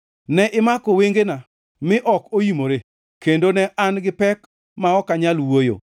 Ne imako wengena mi ok oimore, kendo ne an gi pek ma ok anyal wuoyo.